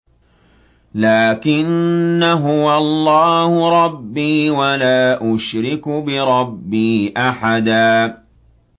لَّٰكِنَّا هُوَ اللَّهُ رَبِّي وَلَا أُشْرِكُ بِرَبِّي أَحَدًا